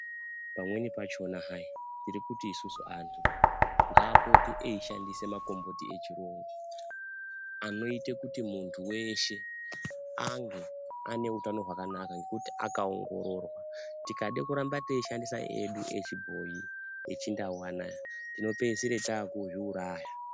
Pamweni pachona hai tiri kuti isusu anthu ngaapote eishandisa makomboti echirungu anoite kuti munthu weshe ange ane utano hwakanaka nekuti akaongororwa tikade kuramba teishandisa edu echibhoyi echindau anaya tinopeisira taakuzviuraya.